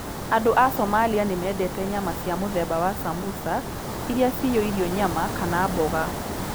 Andũ a Somalia nĩ mendete nyama cia mũthemba wa sambusa, iria ciyũirũo nyama kana mboga.